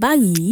báyìí